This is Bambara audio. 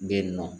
Bɛ yen nɔ